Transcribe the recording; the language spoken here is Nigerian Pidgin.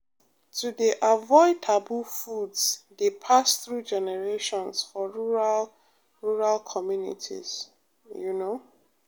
to dey avoid taboo foods dey pass through generations for rural rural communities pause you know